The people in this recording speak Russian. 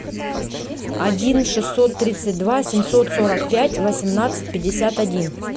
один шестьсот тридцать два семьсот сорок пять восемнадцать пятьдесят один